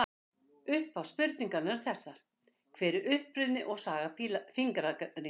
Upphaflegu spurningarnar eru þessar: Hver er uppruni og saga fingraríms?